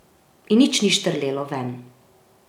In nič ni štrlelo ven.